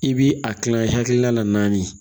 I bi a kilan i hakilila naani